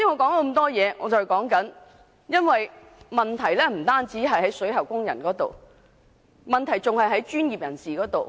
事實上，有關問題不單涉及水喉工人，還涉及相關專業人士。